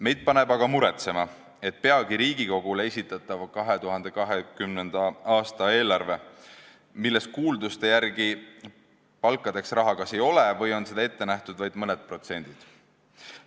Meid paneb aga muretsema, et peagi Riigikogule esitatavas 2020. aasta eelarves kuulduste järgi palgatõusudeks raha kas ei ole või on seda ette nähtud vaid mõneprotsendiseks kasvuks.